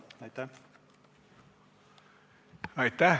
Aitäh!